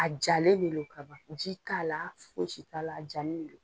A jalen do kaban ji t'ala fosi t'ala a jani de do